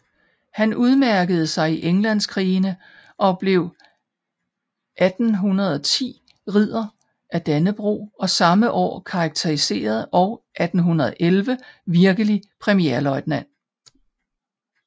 Han udmærkede sig i Englandskrigene og blev 1810 Ridder af Dannebrog og samme år karakteriseret og 1811 virkelig premierløjtnant